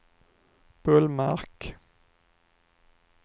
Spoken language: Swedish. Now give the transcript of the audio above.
Bullmark